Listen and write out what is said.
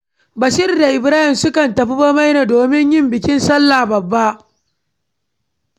Bashir da Ibrahim suka tafi Bamaina domin yin bikin sallah babba.